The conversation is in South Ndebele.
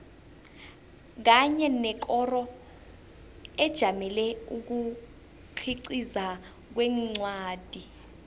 kanye nekoro ejamele ukukhiqiza kwencwadi